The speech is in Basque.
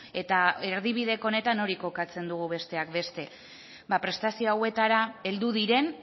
eta erdibideko honetan hori kokatzen dugu besteak beste prestazio hauetara heldu diren